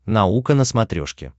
наука на смотрешке